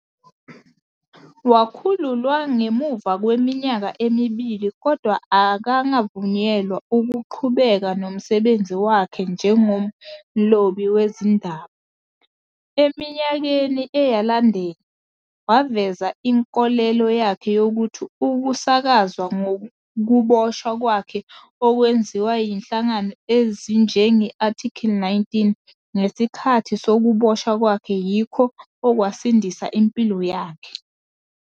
Wakhululwa ngemuva kweminyaka emibili kodwa akangavunyelwa ukuqhubeka nomsebenzi wakhe njengomlobi wezindaba. Eminyakeni eyalandela, waveza inkolelo yakhe yokuthi ukusakazwa ngokuboshwa kwakhe okwenziwa zinhlangano ezinjenge-ARTICLE 19 ngesikhathi sokuboshwa kwakhe yikho okwasindisa impilo yakhe.